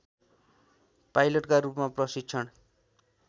पाइलटका रूपमा प्रशिक्षण